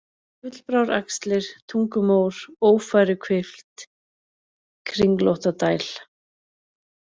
Gullbráraxlir, Tungumór, Ófæruhvilft, Kringlóttadæl